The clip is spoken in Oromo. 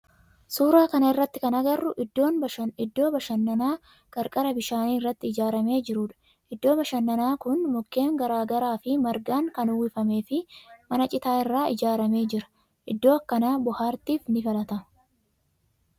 Suuraa kana irratti kan agarru iddoo bashannanaa qarqara bishaan irratti ijaaramee jirudha. Iddoon bashannanaa kun mukkeen garaa garaa fi margaan kan uwwifame fi mana citaa irraa ijaarame jira. Iddoon akkanaa bohaartif ni filatama.